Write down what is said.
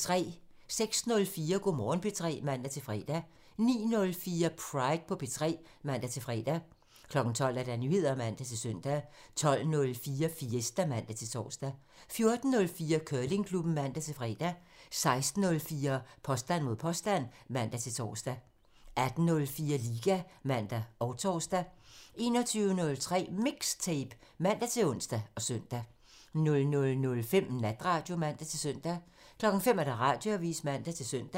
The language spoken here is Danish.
06:04: Go' Morgen P3 (man-fre) 09:04: Pride på P3 (man-fre) 12:00: Nyheder (man-søn) 12:04: Fiesta (man-tor) 14:04: Curlingklubben (man-fre) 16:04: Påstand mod påstand (man-tor) 18:04: Liga (man og tor) 21:03: MIXTAPE (man-ons og søn) 00:05: Natradio (man-søn) 05:00: Radioavisen (man-søn)